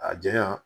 A janya